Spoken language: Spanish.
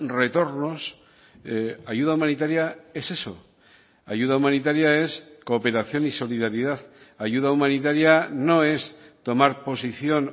retornos ayuda humanitaria es eso ayuda humanitaria es cooperación y solidaridad ayuda humanitaria no es tomar posición